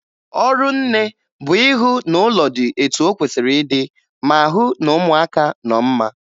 Ọrụ nne bụ ihụ na ụlọ dị etu o kwesiri ịdị, ma hụ na ụmụaka nọ mma